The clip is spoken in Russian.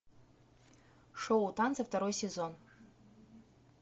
шоу танцы второй сезон